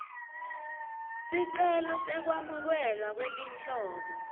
sicelo sekwamukelwa kwetinhlobo